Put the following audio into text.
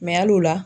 hali o la